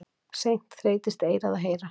Seint þreytist eyrað að heyra.